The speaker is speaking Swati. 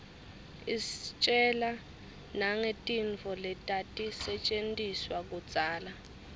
istjela nangetintfo letatisetjentiswa kudzala